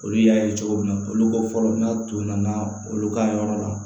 Olu y'a ye cogo min na olu ko fɔlɔ n'a tun nana olu ka yɔrɔ la